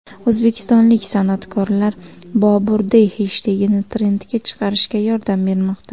O‘zbekistonlik san’atkorlar #BoburDay heshtegini trendga chiqarishga yordam bermoqda .